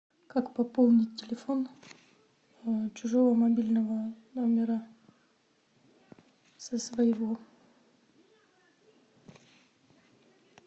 как пополнить телефон чужого мобильного номера со своего